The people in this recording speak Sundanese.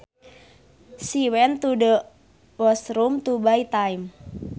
She went to the washroom to buy time